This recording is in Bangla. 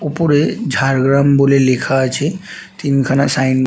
ওপরে ঝাড়গ্রাম বলে লেখা আছে। তিন খানা সাইন --